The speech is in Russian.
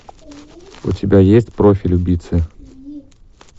у тебя есть профиль убийцы